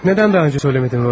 Niyə daha öncə demədin, Rodiya?